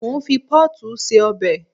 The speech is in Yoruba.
Mo ń fi pọ́ọ̀tù se ọbẹ̀